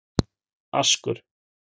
Askur